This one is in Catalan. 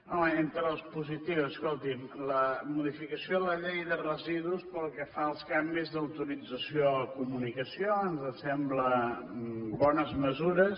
home entre les positives escolti’m la modificació de la llei de residus pel que fa als canvis d’autorització o comunicació ens semblen bones mesures